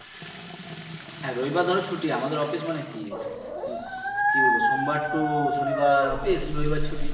হ্যাঁ রবিবার ছুটি আমাদের অফিস মানে কি উম কি বলব সোমবার to শনিবার অফিস রবিবার ছুটি